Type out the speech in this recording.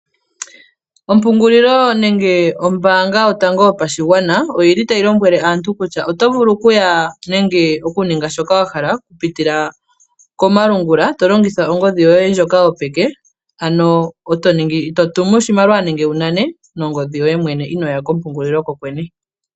Ompungulilo nenge ombaanga yotango yopashigwana, oyili tayi lombwele aantu kusha, oto vulu okuya nenge oku ninga shoka wa hala oku putila komalungula, to longitha ongodhi yoye ndjoka yopeke, ano to tumu oshimaliwa nenge wu nane nongodhi yoye mwene inoya kompungulilo kokwene.